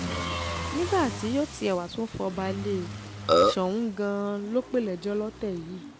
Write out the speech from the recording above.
nígbà tí yóò tiẹ̀ wáá tún fọba lé e soun gan-an ló pè lẹ́jọ́ lọ́tẹ̀ yìí